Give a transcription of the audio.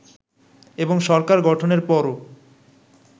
এবং সরকার গঠনের পরও